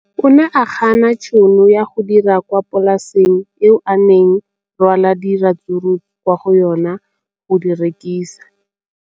O ne a gana tšhono ya go dira kwa polaseng eo a neng rwala diratsuru kwa go yona go di rekisa.